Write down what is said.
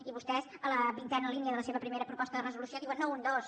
i vostès en la vintena línia de la seva primera proposta de resolució diuen no un dos